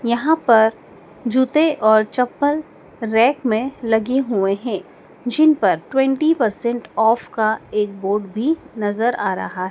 यहाँ पर जूते और चप्पल रैक में लगे हुए हैं जिनपर ट्वेन्टी परसेंट ऑफ का एक बोर्ड भी नज़र आ रहा।